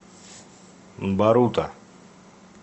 барута